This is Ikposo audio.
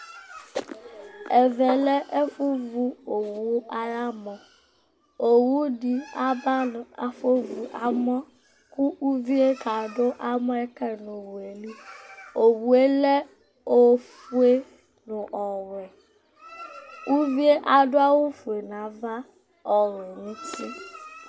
Ɛvɛ lɛ ɛfʋvʋ owʋ ayʋ amɔ Owʋ dɩ aba kʋ afovʋ amɔ, kʋ uvi uɛ kadu amɔ yɛ kayɩ nʋ owʋ yɛ li Owʋ yɛ lɛ ofue nʋ ɔwɛ Uvi yɛ adʋ awʋfue nʋ ava, ɔwɛ nʋ uti